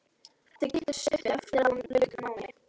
Þau kynntust stuttu eftir að hún lauk námi.